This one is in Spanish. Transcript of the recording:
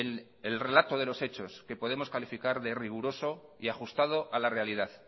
en el relato de los hechos que podemos calificar de riguroso y ajustado a la realidad